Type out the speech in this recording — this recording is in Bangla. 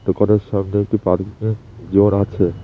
দোকানের সামনে একটি পার্কিংয়ের জোন আছে।